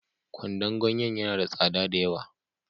Kwandon ganyen ya na da tsada da yawa